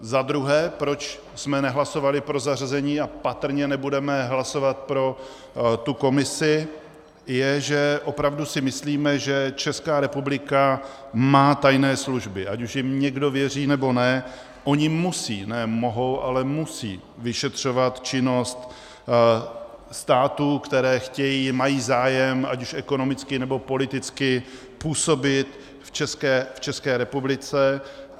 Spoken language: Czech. Za druhé, proč jsme nehlasovali pro zařazení a patrně nebudeme hlasovat pro tu komisi, je, že opravdu si myslíme, že Česká republika má tajné služby, ať už jim někdo věří, nebo ne, ony musí- ne mohou, ale musí vyšetřovat činnost států, které chtějí, mají zájem ať už ekonomicky, nebo politicky působit v České republice.